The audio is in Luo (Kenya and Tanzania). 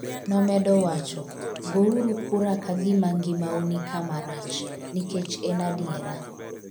nomedo wacho ''go uru kura ka gima ngima u nikama rach, nikech en adiera''